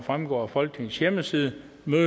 fremgår af folketingets hjemmeside